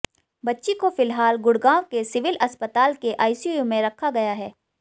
बच्ची को फिलहाल गुड़गांव के सिविल अस्पताल के आईसीयू में रखा गया है